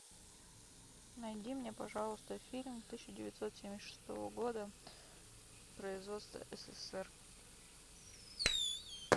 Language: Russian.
найди мне пожалуйста фильм тысяча девятьсот семьдесят шестого года производства ссср